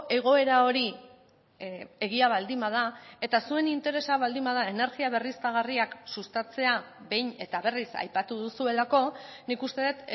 egoera hori egia baldin bada eta zuen interesa baldin bada energia berriztagarriak sustatzea behin eta berriz aipatu duzuelako nik uste dut